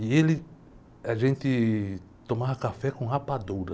E ele, a gente tomava café com rapadura.